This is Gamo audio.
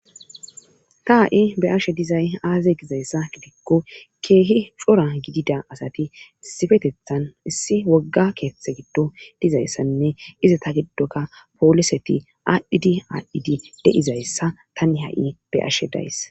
ta ha7i be ashe dizay aaze gizayssa gidikko keehi cora gidida asati sifetethan issi wogga keeththe giddo dizayssanne iza ta giddoka pooliseti aadhdhidi aadhdhidi deizayssa tani ha7i be ashe days